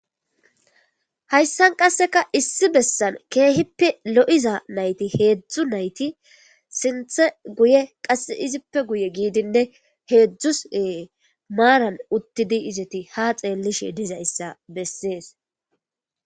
Hayssan qasseka issi bessan keehippe lo7iza nayti heedzdzu nayti sinthe guye qasse izippe guye giidinne heedzdzus ee maaran uttidi izeti ha xeellishe dizayssa bessees.